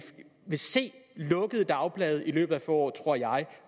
vil se lukkede dagblade i løbet af få år tror jeg